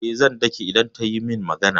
Eh, zan dake idan ta yi min magana.